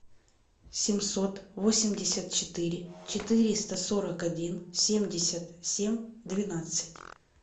семьсот восемьдесят четыре четыреста сорок один семьдесят семь двенадцать